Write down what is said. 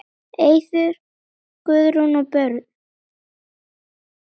Eiður, Guðrún og börn.